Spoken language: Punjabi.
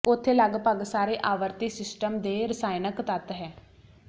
ਉੱਥੇ ਲਗਭਗ ਸਾਰੇ ਆਵਰਤੀ ਸਿਸਟਮ ਦੇ ਰਸਾਇਣਕ ਤੱਤ ਹੈ